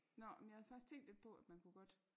Nåh men jeg har faktisk tænkt lidt på at man kunne godt